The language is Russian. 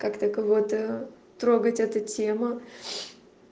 как-то кого-то трогать это тема